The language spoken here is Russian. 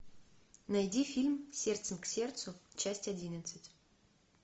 найди фильм сердцем к сердцу часть одиннадцать